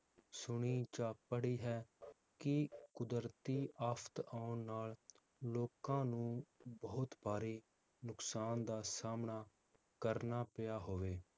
ਸੁਣੀ ਜਾਂ ਪੜ੍ਹੀ ਹੈ, ਕਿ ਕੁਦਰਤੀ ਆਫ਼ਤ ਆਉਣ ਨਾਲ ਲੋਕਾਂ ਨੂੰ ਬਹੁਤ ਭਾਰੇ ਨੁਕਸਾਨ ਦਾ ਸਾਮਣਾ ਕਰਨਾ ਪਿਆ ਹੋਵੇ?